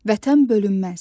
Vətən bölünməz.